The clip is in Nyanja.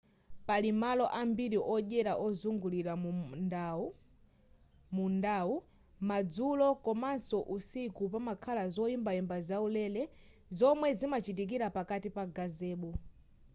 pali malo ambiri odyera ozungulira mundawo madzulo komaso usiku pamakhala zoyimbayimba zaulere zomwe zimachitikira pakati pa gazebo